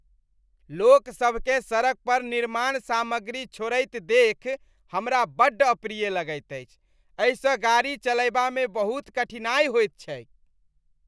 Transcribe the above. लोकसभकेँ सड़क पर निर्माण सामग्री छोड़ैत देखि हमरा बड्ड अप्रिय लगैत अछि, एहिसँ गाड़ी चलयबामे बहुत कठिनाइ होइत छैक ।